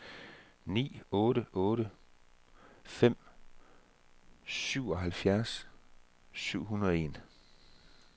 ni otte otte fem syvoghalvfjerds syv hundrede og en